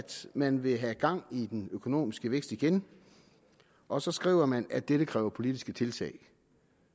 man vil have gang i den økonomiske vækst igen og så skriver man at dette kræver politiske tiltag